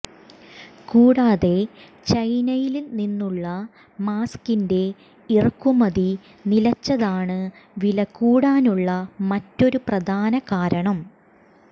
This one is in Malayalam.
കൂടാതെ ചൈനയില് നിന്നുള്ള മാസ്കിന്റെ ഇറക്കുമതി നിലച്ചതാണ് വില കൂടാനുള്ള മറ്റൊരു പ്രധാന കാരണം